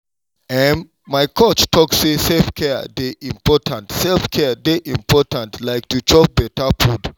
ehm my coach talk say self-care dey important self-care dey important like to chop better food.